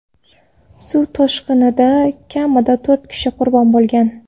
Suv toshqinida kamida to‘rt kishi qurbon bo‘lgan.